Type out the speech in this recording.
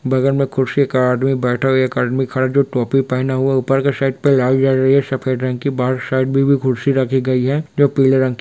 बगल में कुर्सी का आदमी बैठे हुआ है एक आदमी खड़ा है जो टोपी पहना हुआ ऊपर के साइड पे लाइट जल रही है सफ़ेद रंग की बाहर साइड में भी कुर्सी रखी गई है जो पीले रंग --